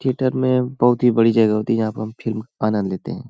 Theatre में बहोत ही बड़ी जगह होती है यहाँ पे हम फिल्म का आनंद लेते हैं।